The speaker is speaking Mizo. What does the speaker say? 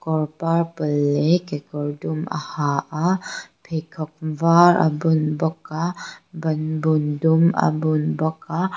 kawr purple leh kekawr dum a ha a pheikhawk vâr a bun bawk a bânbun dum a bun bawk a--